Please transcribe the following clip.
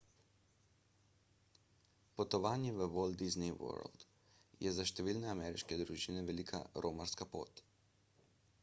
potovanje v walt disney world je za številne ameriške družine velika romarska pot